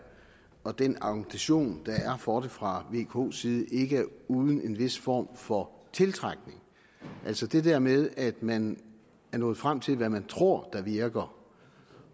og den argumentation der er for det fra vko’s side ikke er uden en vis form for tiltrækning altså det der med at man er nået frem til hvad man tror virker